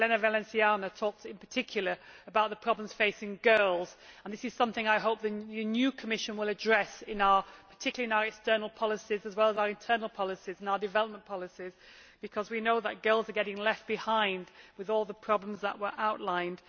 Elena Valenciano talked in particular about the problems facing girls, and this is something I hope the new Commission will address, particularly in our external policies as well as our internal and development policies, because we know that girls are getting left behind with all the problems that were outlined.